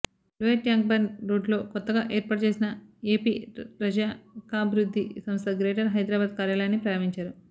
lower Tank Bund రోడ్డులో కొత్తగా ఏర్పాటు చేసిన ఎపి రజకాభివృద్ధి సంస్థ గ్రేటర్ హైదరాబాద్ కార్యాలయాన్ని ప్రారంభించారు